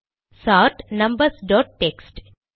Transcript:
chart numbers dot text